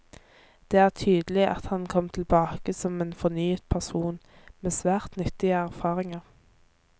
Det er tydelig at han kom tilbake som en fornyet person, med svært nyttige erfaringer.